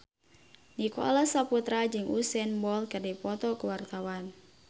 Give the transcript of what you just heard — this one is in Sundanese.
Nicholas Saputra jeung Usain Bolt keur dipoto ku wartawan